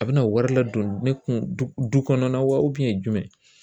A bɛna wari ladon ne kun du kɔnɔna wa jumɛn